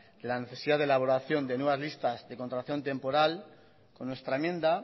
de la necesidad de elaboración de nuevas listas de contratación temporal con nuestra enmienda